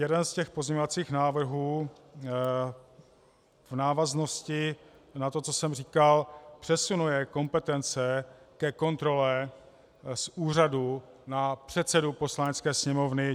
Jeden z těch pozměňovacích návrhů v návaznosti na to, co jsem říkal, přesunuje kompetence ke kontrole z úřadu na předsedu Poslanecké sněmovny.